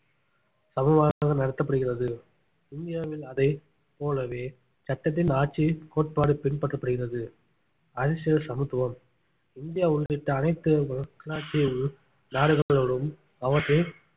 சமமாக நடத்தப்படுகிறது இந்தியாவில் அதை போலவே சட்டத்தின் ஆட்சியை கோட்பாடு பின்பற்றப்படுகிறது அரசியல் சமத்துவம் இந்தியா உள்ளிட்ட அனைத்து மக்களாட்சி நாடுகளோடும் அவற்றின்